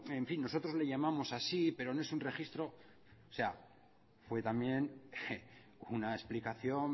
en fin nosotros le llamamos así pero no es un registro o sea fue también una explicación